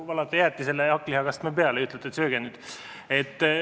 Valate jäätisele hakklihakastme peale ja ütlete, et sööge nüüd.